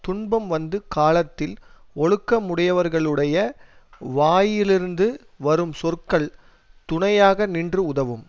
துன்பம் வந்து காலத்தில் ஒழுக்கமுடையவர்களுடைய வாயிலிருந்து வரும் சொற்கள் துணையாக நின்று உதவும்